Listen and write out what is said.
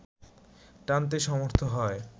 টানতে সমর্থ হয়